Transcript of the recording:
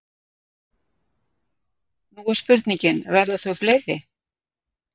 Nú er spurningin, verða þau fleiri?